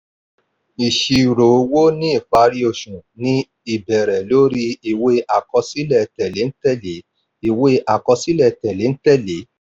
ìṣirò owó ní ìparí oṣù ní í bẹ̀rẹ̀ lórí ìwé àkọsílẹ̀ tẹ̀léǹtẹ̀lẹ́. ìwé àkọsílẹ̀ tẹ̀léǹtẹ̀lẹ́.